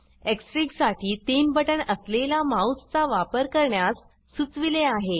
Xfig साठी तीन बटण असलेला माउस चा वापर करण्यास सुचविले आहे